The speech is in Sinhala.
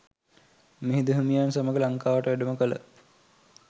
මිහිඳු හිමියන් සමඟ ලංකාවට වැඩම කළ